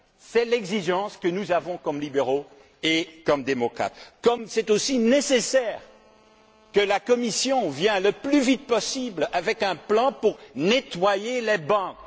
C'est l'exigence que nous avons comme libéraux et comme démocrates, comme c'est aussi nécessaire que la Commission présente le plus vite possible un plan pour nettoyer les bancs.